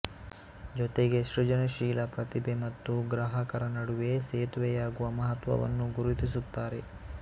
ಜೊತೆಗೆ ಸೃಜನಶೀಲ ಪ್ರತಿಭೆ ಮತ್ತು ಗ್ರಾಹಕರ ನಡುವೆ ಸೇತುವೆಯಾಗುವ ಮಹತ್ವವನ್ನು ಗುರುತಿಸುತ್ತಾರೆ